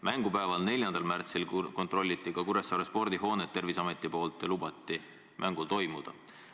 Mängupäeval, 4. märtsil kontrollis Terviseamet Kuressaare spordihoonet ja lubas mängul toimuda.